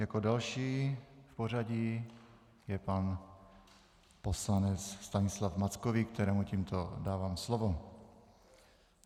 Jako další v pořadí je pan poslanec Stanislav Mackovík, kterému tímto dávám slovo.